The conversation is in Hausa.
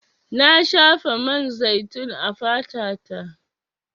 Na shafa man zaitun a fata ta.